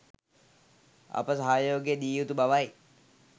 අප සහයෝගය දිය යුතු බවයි.